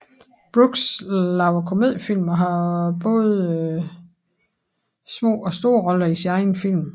Brooks laver komediefilm og har både små og store roller i sine egne film